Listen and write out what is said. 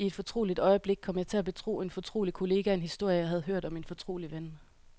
I et fortroligt øjeblik kom jeg til at betro en fortrolig kollega en historie, jeg havde hørt om en fortrolig ven.